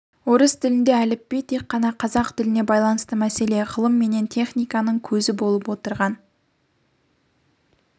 орыс тілінде әліпби тек қана қазақ тіліне байланысты мәселе ғылым менен техниканың көзі болып отырған